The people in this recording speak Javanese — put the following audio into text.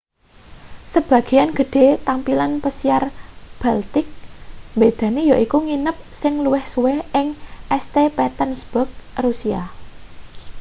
sebagean gedhe tampilan pesiar baltic mbedani yaiku nginep sing luwih suwe ing st petersburg russia